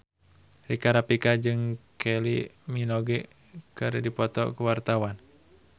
Rika Rafika jeung Kylie Minogue keur dipoto ku wartawan